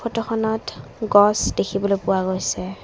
ফটোখনত গছ দেখিবলৈ পোৱা গৈছে।